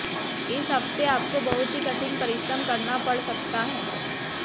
इस हफ्ते आपको बहुत ही कठिन परिश्रम करना पड़ सकता है